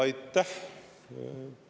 Aitäh!